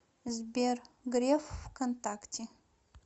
сбер греф в контакте